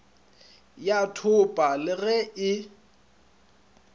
ya thopa le ge e